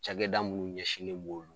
Cagɛda munnu ɲɛsinlen b'olu